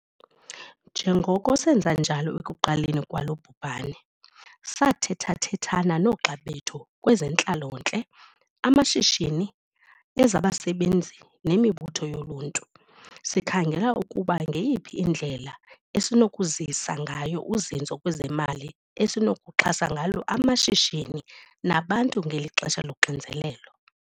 Njengoko senza njalo ekuqaleni kwalo bhubhane, sathethathethana noogxa bethu kwezentlalontle, amashishini, ezabasebenzi nemibutho yoluntu. Sikhangela ukuba ngeyiphi indlela esinokuzisa ngayo uzinzo kwezemali esinokuxhasa ngalo amashishini nabantu ngeli xesha loxinzelelo.